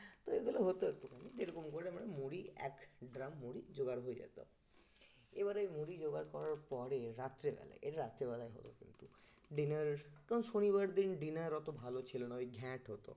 তো এগুলো হত যেরকম করলে আমরা মুড়ি, এক ড্রাম মুড়ি জোগাড় হয়ে যেত এবারে মুড়ি জোগাড় করার পরে রাত্রেবেলা এই রাত্রিবেলায় হল কিন্তু dinner ওই শনিবার দিন dinner অত ভালো ছিল না ওই ঘ্যাট হতো